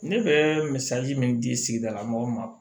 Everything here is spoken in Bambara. Ne bɛ misali min di sigidala mɔgɔw ma